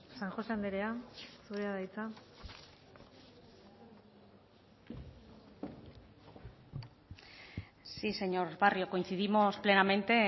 san josé andrea zurea da hitza sí señor barrio coincidimos plenamente